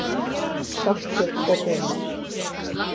Saltkjöt og baunir